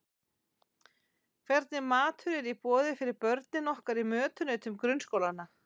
Hvernig matur er í boði fyrir börnin okkar í mötuneytum grunnskólanna?